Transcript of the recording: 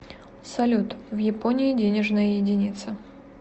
салют в японии денежная единица